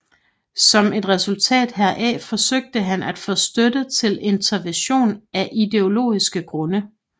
Som et resultat heraf forsøgte han at få støtte til intervention af ideologiske grunde